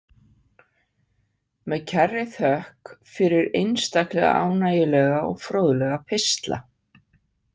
Með kærri þökk fyrir einstaklega ánægjulega og fróðlega pistla.